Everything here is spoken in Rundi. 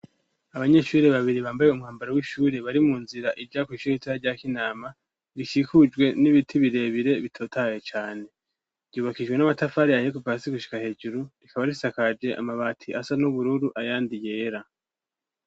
Abanyeshuriri babiri bambaye umwambaro w'ishuri bari mu nzira irya kw'ishuri itaha ryakoinama rishikujwe n'ibiti birebire bitotaye cane ryubakijwe n'amatafari ayeku pasi gushika hejuru rikaba risakaje amabati asa n'ubururu ayandi yera.